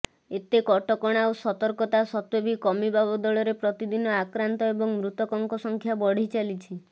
ଏତେ କଟକଣା ଓ ସତର୍କତା ସତ୍ତ୍ୱେ ବି କମିବା ବଦଳରେ ପ୍ରତିଦିନ ଆକ୍ରାନ୍ତ ଏବଂ ମୃତକଙ୍କ ସଂଖ୍ୟା ବଢ଼ିଚାଲିଛି